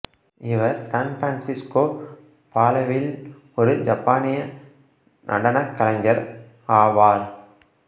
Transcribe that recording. இவர் San Francisco பாலேவில் ஒரு ஜப்பானிய நடனக் கலைஞர் ஆவார்